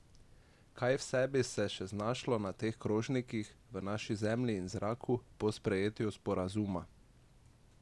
Kaj vse bi se še znašlo na naših krožnikih, v naši zemlji in zraku po sprejetju sporazuma?